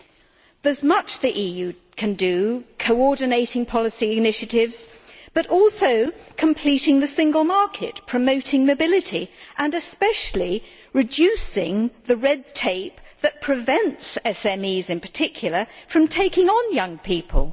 There is much the EU can do, such as coordinating policy initiatives, but also completing the single market, promoting mobility and, especially, reducing the red tape that prevents SMEs in particular from taking on young people.